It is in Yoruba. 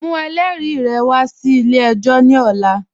Mu ẹlẹri wà sí ilẹ̀-ẹ̀jọ ni ọ̀là